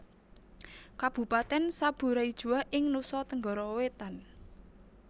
Kabupatèn Sabu Raijua ing Nusa Tenggara Wétan